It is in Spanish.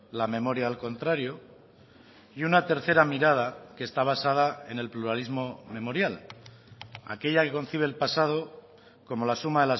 la memoria al contrario y una tercera mirada que está basada en el pluralismo memorial aquella que concibe el pasado como la suma